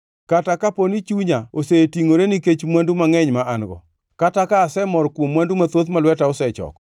kata kapo ni chunya osetingʼore nikech mwandu mangʼeny ma an-go, kata ka asemor kuom mwandu mathoth ma lweta osechoko,